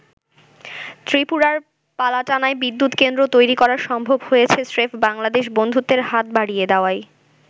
ত্রিপুরার পালাটানায় বিদ্যুৎ কেন্দ্র তৈরি করা সম্ভব হয়েছে স্রেফ বাংলাদেশ বন্ধুত্বের হাত বাড়িয়ে দেওয়ায়।